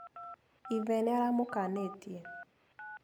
Ithe nĩ aramũkanĩtie.